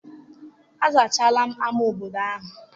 Azachaala ama obodo ahụ?